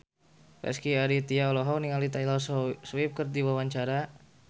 Rezky Aditya olohok ningali Taylor Swift keur diwawancara